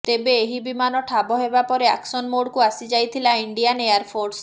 ତେବେ ଏହି ବିମାନ ଠାବ ହେବା ପରେ ଆକ୍ସନ୍ ମୋଡକୁ ଆସିଯାଇଥିଲା ଇଣ୍ଡିଆନ୍ ଏୟାର ଫୋର୍ସ